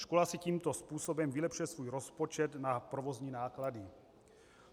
Škola si tímto způsobem vylepšuje svůj rozpočet na provozní náklady.